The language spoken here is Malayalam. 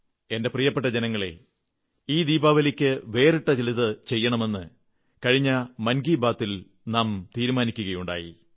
എന്റെ പ്രിയപ്പെട്ട ജനങ്ങളേ ഈ ദീപാവലിക്ക് വേറിട്ട ചിലതു ചെയ്യണമെന്ന് കഴിഞ്ഞ മൻ കീ ബാതിൽ നാം നിശ്ചയിക്കയുണ്ടായി